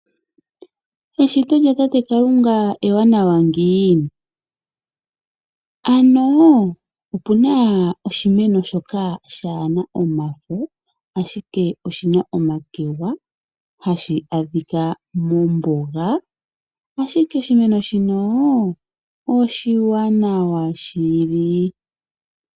Eshito lya tate Kalunga ewanawa ngiini! Ano opuna oshimeno shoka shaana omafo ashike oshina omakegwa hashi adhika mombuga, ashike oshimeno shino oshiwanawa shili.